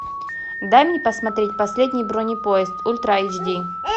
дай мне посмотреть последний бронепоезд ультра эйч ди